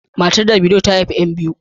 Matar Davido ta haihu yan biyu.